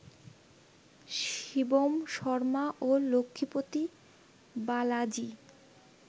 শিবম শর্মা ও লক্ষ্মীপতি বালাজি